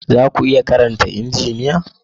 Za ku iya karanta Injiniya?